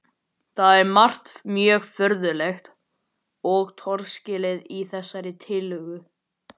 Það er margt mjög furðulegt og torskilið í þessari tillögu.